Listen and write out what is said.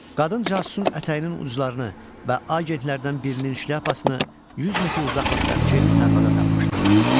Qadın casusun ətəyinin uclarını və agentlərdən birinin şlyapasını 100 metr uzaqlıqdakı tarlada tapmışdı.